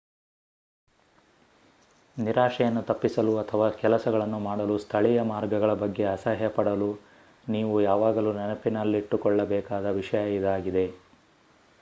ನಿರಾಶೆಯನ್ನು ತಪ್ಪಿಸಲು ಅಥವಾ ಕೆಲಸಗಳನ್ನು ಮಾಡಲು ಸ್ಥಳೀಯ ಮಾರ್ಗಗಳ ಬಗ್ಗೆ ಅಸಹ್ಯಪಡಲು ನೀವು ಯಾವಾಗಲೂ ನೆನಪಿನಲ್ಲಿಟ್ಟುಕೊಳ್ಳಬೇಕಾದ ವಿಷಯ ಇದಾಗಿದೆ